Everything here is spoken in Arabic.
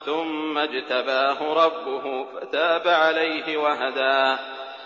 ثُمَّ اجْتَبَاهُ رَبُّهُ فَتَابَ عَلَيْهِ وَهَدَىٰ